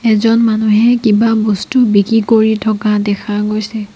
এজন মানুহে কিবা বস্তু বিক্ৰী কৰি থকা দেখা গৈছে।